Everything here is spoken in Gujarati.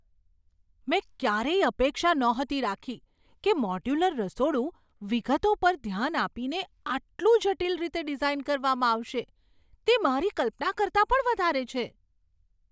મેં ક્યારેય અપેક્ષા નહોતી રાખી કે મોડ્યુલર રસોડું વિગતો પર ધ્યાન આપીને આટલું જટિલ રીતે ડિઝાઈન કરવામાં આવશે! તે મારી કલ્પના કરતાં પણ વધારે છે.